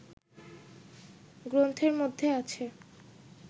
গ্রন্থের মধ্যে আছে